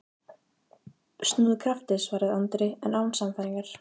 Snúðu skafti, svaraði Andri, en án sannfæringar.